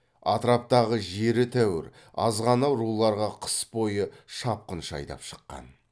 атраптағы жері тәуір азғана руларға қыс бойы шапқыншы айдап шыққан